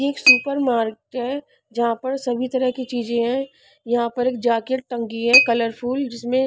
एक supermarket जहां पर सभी तरह की चीज हैं यहां पर एक जैकेट टंकी है कलरफुल जिसमें--